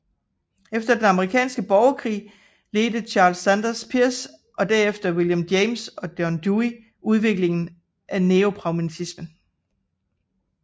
Efter den amerikanske borgerkrig ledte Charles Sanders Peirce og derefter William James og John Dewey udviklingen af neopragmatismen